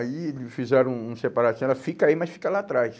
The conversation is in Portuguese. Aí fizeram um um separatismo, era fica aí, mas fica lá atrás.